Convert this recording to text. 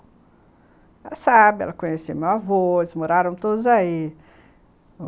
Ela sabe, ela conhece meu avô, eles moraram todos aí.